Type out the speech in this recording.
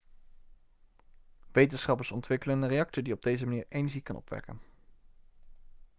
wetenschappers ontwikkelen een reactor die op deze manier energie kan opwekken